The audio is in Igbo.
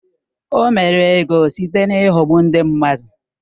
O mere ego site n’ịghọgbu ndị mmadụ.